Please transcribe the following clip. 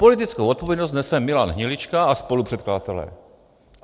Politickou odpovědnost nese Milan Hnilička a spolupředkladatelé.